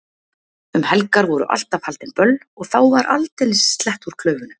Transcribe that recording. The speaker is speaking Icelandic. Um helgar voru alltaf haldin böll og þá var aldeilis slett úr klaufunum.